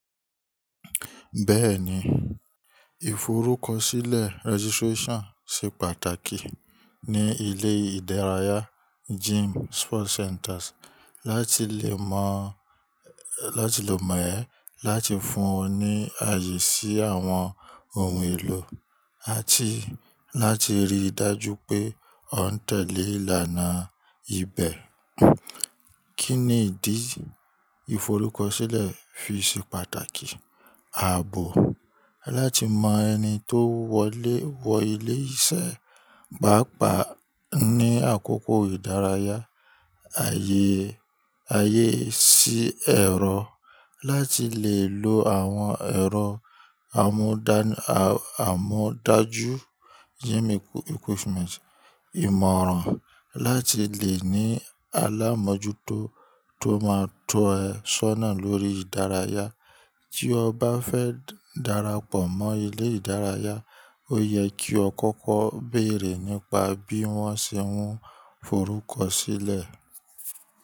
Bẹ́ẹ̀ni, ìforúkọsílẹ̀ registration ṣe pàtàkì ní ilé ìdárayá gym sport centres láti lè mọ̀ ẹ, láti fún ọ ní ààyè sí àwọn ohun èlò àti láti rí i dájú pé o n tẹ̀lé ìlànà ibẹ̀. Kí ni ìdí ìforúkọsílẹ̀ fi ṣe pàtàkì? Ààbò, láti mọ ẹni tó wọ ilé iṣẹ́, pàápàá ní àkókò ìdárayá. Ààyè sí ẹ̀rọ, láti lè lo àwọn ẹ̀rọ àmúdájú gym equipment. Ìmọ̀ràn, láti lè ní alámójútó tó máa tọ́ ẹ sọ́nà lórí ìdárayá. Tí o bá fẹ́ darapọ̀ mọ́ ilé ìdárayá, ó yẹ kí o kọ́kọ́ bèrè nípa bí wọ́n ṣe ń forúkọsílẹ̀.